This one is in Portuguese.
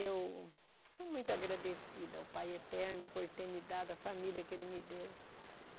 Eu sou muito agradecida ao Pai Eterno por ter me dado a família que Ele me deu.